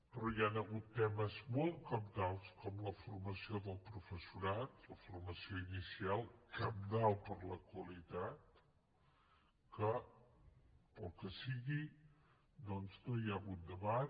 però hi han hagut temes molt cabdals com la formació del professorat la formació inicial cabdal per a la qualitat en què pel que sigui doncs no hi ha hagut debat